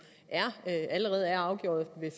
allerede er afgjort ved